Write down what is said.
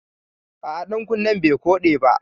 A'a ɗankunnen bai koɗe ba